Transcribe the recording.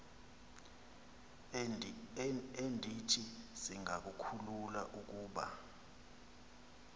endithi zingakhulula ukuba